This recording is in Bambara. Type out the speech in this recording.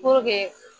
Puruke